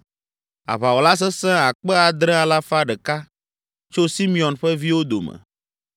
aʋawɔla sesẽ akpe adre alafa ɖeka (7,100) tso Simeon ƒe viwo dome;